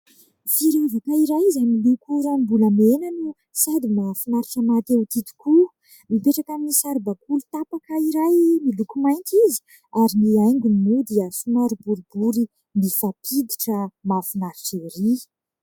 Firavaka iray izay miloko ranombolamena no sady mahafinaritra mahate-ho tia tokoa. Mipetraka amin'ny saribaoly tapaka iray miloko mainty izy. Ary ny haingony moa dia somary boribory mifampiditra mahafinaritra erỳ.